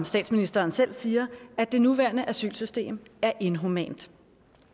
statsministeren selv siger at det nuværende asylsystem er inhumant